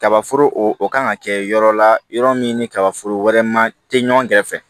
Kaba foro o kan ka kɛ yɔrɔ la yɔrɔ min ni kabaforo wɛrɛ ma tɛ ɲɔgɔn kɛrɛfɛ